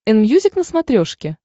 энмьюзик на смотрешке